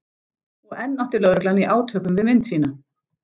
Og enn átti lögreglan í átökum við mynd sína.